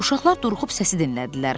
Uşaqlar duruxub səsi dinlədilər.